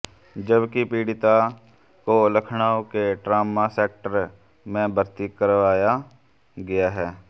जबकि पीड़िता को लखनऊ के ट्रामा सेंटर में भर्ती कराया गया है